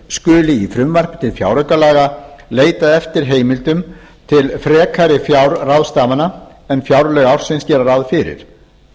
skuli í frumvarpi til fjáraukalaga leitað eftir heimildum til frekari fjárráðstafana en fjárlög ársins gera ráð fyrir